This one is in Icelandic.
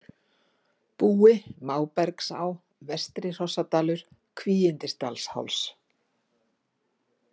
Búi, Mábergsá, Vestri-Hrossadalur, Kvígindisdalsháls